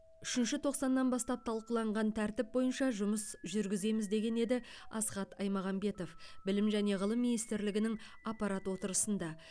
үшінші тоқсаннан бастап талқыланған тәртіп бойынша жұмыс жүргіземіз деген еді асхат аймағамбетов білім және ғылым министрлігінің аппарат отырысында